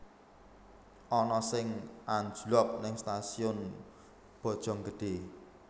Ana sing anjlok ning Stasiun Bojonggede